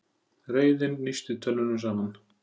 Reiðin nísti tönnunum saman.